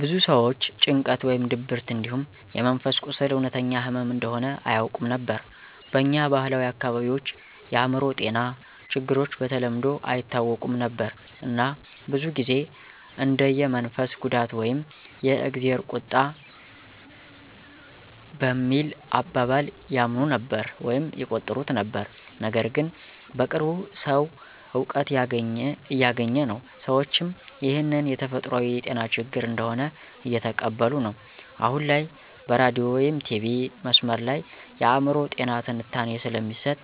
ብዙ ሰዎች ጭንቀት ወይም ድብርት እንዲሁም የመንፈስ ቁስል እውነተኛ ህመም እንደሆነ አያውቁም ነበር። በኛ ባህላዊ አካባቢዎች የአእምሮ ጤና ችግሮች በተለምዶ አይታወቁም ነበር እና ብዙ ጊዜ እንደ የመንፈስ ጉዳት ወይም የ"እግዜር ቁጣ" በሚል አባባል ያምኑ ነበር/ይቆጥሩት ነበር። ነገርግን በቅርቡ ሰዉ እውቀት እያገኘ ነው፣ ሰዎችም ይህን የተፈጥሯዊ የጤና ችግር እንደሆነ እየተቀበሉ ነዉ። አሁን ላይ በሬዲዮ/ቲቪ/መስመር ላይ የአእምሮ ጤና ትንታኔ ስለሚሰጥ